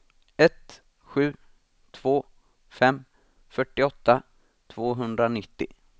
ett sju två fem fyrtioåtta tvåhundranittio